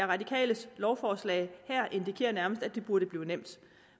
radikales lovforslag her indikerer nærmest at det burde blive nemt